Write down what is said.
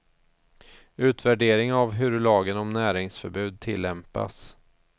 Utvärdering av hur lagen om näringsförbud tillämpas.